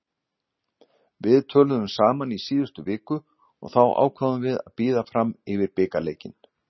Við töluðum saman í síðustu viku og þá ákváðum við að bíða fram yfir bikarleikinn.